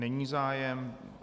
Není zájem.